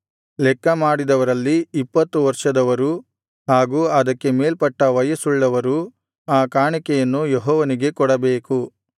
ಲೆಕ್ಕ ಮಾಡಿದವರಲ್ಲಿ ಇಪ್ಪತ್ತು ವರ್ಷದವರೂ ಹಾಗೂ ಅದಕ್ಕೆ ಮೇಲ್ಪಟ್ಟ ವಯಸ್ಸುಳ್ಳವರೂ ಆ ಕಾಣಿಕೆಯನ್ನು ಯೆಹೋವನಿಗೆ ಕೊಡಬೇಕು